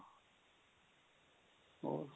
ਹੋਰ